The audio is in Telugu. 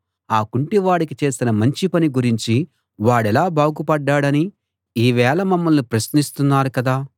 ఆ కుంటివాడికి చేసిన మంచి పని గురించి వాడెలా బాగుపడ్డాడని ఇవాళ మమ్మల్ని ప్రశ్నిస్తున్నారు కదా